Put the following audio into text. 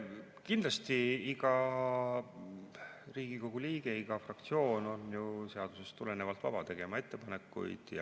Kindlasti on iga Riigikogu liige ja iga fraktsioon seadusest tulenevalt vaba tegema ettepanekuid.